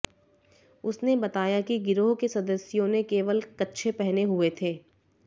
उसने बताया कि गिरोह के सदस्यों ने केवल कच्छे पहने हुए थे